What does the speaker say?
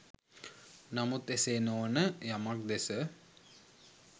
නමුත් එසේ නොවන යමක් දෙස